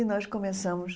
E nós começamos.